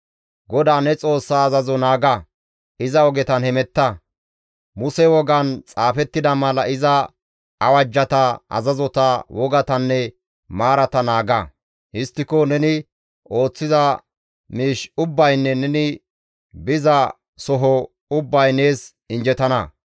GODAA ne Xoossaa azazo naaga; iza ogetan hemetta; Muse wogan xaafettida mala iza awajjata, azazota, wogatanne maarata naaga; histtiko neni ooththiza miish ubbaynne neni biza soho ubbay nees injjetana.